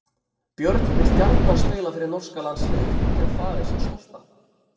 Björn vill gjarnan spila fyrir norska landsliðið og gera faðir sinn stoltan.